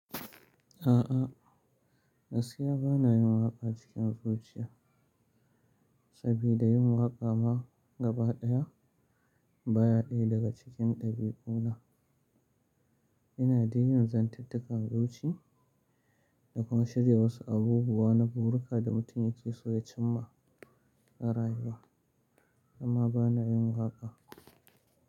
A'a, gaskiya ba na yin waƙa cikin zuciya, sabida yin waƙa ma gabaɗaya baya ɗaya daga cikin ɗabi'una. Ina dai yin zantattakar zuci da kuma shirya wasu abubuwa na burika da mutum yake so ya cimma a rayuwa, amma ba na yin waƙa.